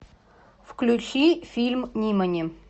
включи фильм нимани